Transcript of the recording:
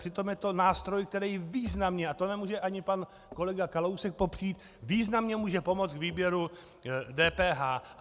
Přitom je to nástroj, který významně, a to nemůže ani pan kolega Kalousek popřít, významně může pomoci k výběru DPH.